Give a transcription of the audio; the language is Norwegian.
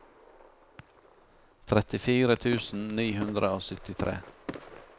trettifire tusen ni hundre og syttitre